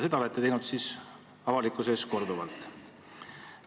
Seda olete teinud avalikkuse ees korduvalt.